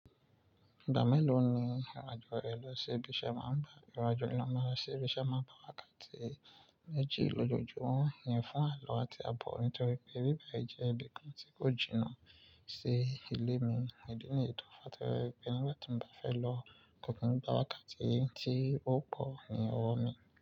Ìgbà mélòó ni ìrìn àjò ẹ lọ sí ibi iṣẹ́ máa ń bá? Ìrìn àjò ni máa lọ sí ibi iṣẹ́ máa ń bá wa káàkiri méjì lójoojúmọ́. Wọ́n yìn fún àlọ́ àti àbọ̀ nítorí pé bíbẹ̀ jẹ́ ibi kan tí kò jìnnà ṣe ilé mi. Ìdí nìyí tó fàá táwọn pé nígbà tí mo bá fẹ́ lọ kò kí n bá wá káàkiri tí ó pọ̀ ní ọwọ́ mi.